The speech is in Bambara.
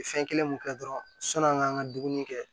Fɛn kelen mun kɛ dɔrɔn sani an k'an ka dumuni kɛ